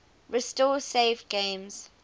restore saved games